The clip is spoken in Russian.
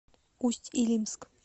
усть илимск